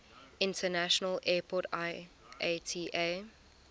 international airport iata